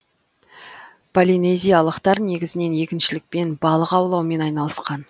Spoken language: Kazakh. полинезиялықтар негізінен егіншілікпен балық аулаумен айналысқан